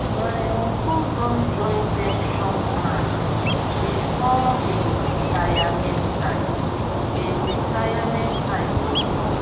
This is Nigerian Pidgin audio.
my uncle don join pension plan before him retirement time him retirement time go come